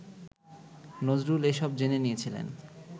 নজরুল এসব জেনে নিয়েছিলেন